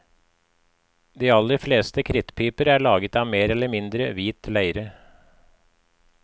De aller fleste krittpiper er laget av mer eller mindre hvit leire.